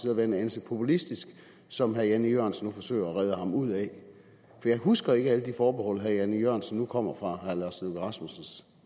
at være en anelse populistisk som herre jan e jørgensen nu forsøger at redde ham ud af for jeg husker ikke alle de forbehold som herre jan e jørgensen nu kommer med fra herre lars løkke rasmussens